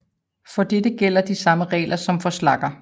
For dette gælder de samme regler som for slagger